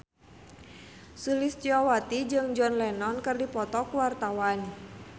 Sulistyowati jeung John Lennon keur dipoto ku wartawan